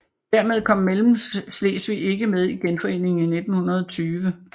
Dermed kom Mellemslesvig ikke med i Genforeningen 1920